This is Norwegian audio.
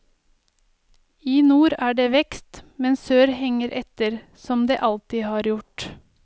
I nord er det vekst, men sør henger etter, som det alltid har gjort.